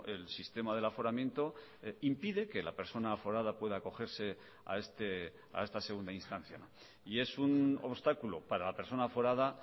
el sistema del aforamiento impide que la persona aforada pueda acogerse a esta segunda instancia y es un obstáculo para la persona aforada